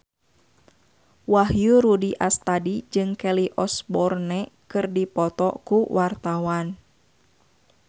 Wahyu Rudi Astadi jeung Kelly Osbourne keur dipoto ku wartawan